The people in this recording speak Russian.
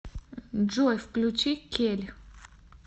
джой включи кель